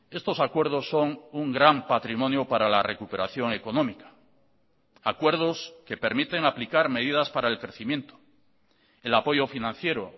estos acuerdos son un gran patrimonio para la recuperación económica acuerdos que permiten aplicar medidas para el crecimiento el apoyo financiero